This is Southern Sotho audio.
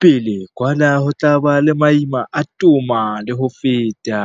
pele kwa na ho tla ba le maima a toma le ho feta.